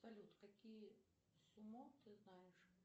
салют какие сумо ты знаешь